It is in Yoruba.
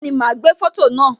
Bẹẹni, ma gbé foto naa